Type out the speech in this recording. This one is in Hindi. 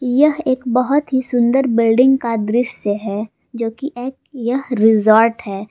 यह एक बहुत ही सुंदर बिल्डिंग का दृस्य है जो कि एक यह रिजॉर्ट है।